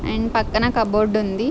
And పక్కన cupboard ఉంది.